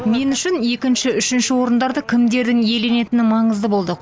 мен үшін екінші үшінші орындардың кімдердің иеленетіні маңызды болды